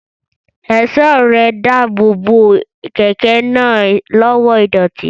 Ẹ̀ṣọ́ ẹrẹ̀ ń dáàbò bo kẹ̀kẹ́ náà lọ́wọ́ ìdọ̀tí